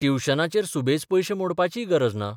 ट्युशनाचेर सुबेज पयशे मोडपाची गरज ना.